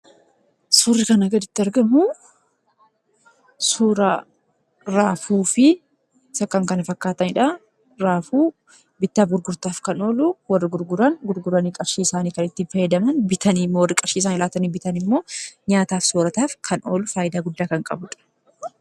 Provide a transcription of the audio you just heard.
Suurri kana gaditti argamu, suuraa raafuu fi isa kan kana fakkaatanidha. Raafuu bittaaf gurgurtaaf kan oolu, warri gurgurani qarshii isaanii kan ittiin fayyadaman, bitanii immoo warri qarshii isaa laatanii bitan immoo nyaataaf soorataaf kan oolu, faayidaa guddaa kan qabudha.